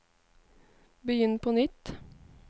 begynn på nytt